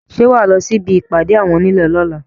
Ṣé wà á lọ sí ibi ìpàdé àwọn onílé lọ́la?